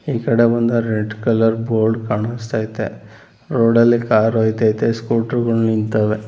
ಈ ಕಡೆ ಬಂದ್ರೆ ರೆಡ್ ಕಲರ್ ಬೋರ್ಡ್ ಕಾಣಿಸ್ತಾ ಐತೆ ರೋಡ ಲ್ಲಿ ಕಾರ್ ಹೊಯ್ತಾಯಿತೇ ಸ್ಕೂಟ್ರು ಗಳ್ ನಿಂತವೆ.